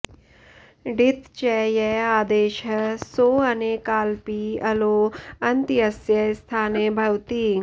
ङित् च य आदेशः सो ऽनेकालपि अलो ऽन्त्यस्य स्थाने भवति